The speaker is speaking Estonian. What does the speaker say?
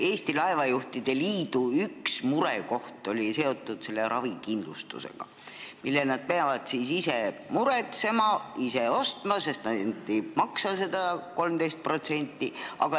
Eesti Laevajuhtide Liidu üks murekoht on seotud selle ravikindlustusega, mille meremehed peavad ise muretsema, ise ostma, sest nad ei maksa seda 13%.